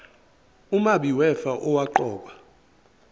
umabi wefa owaqokwa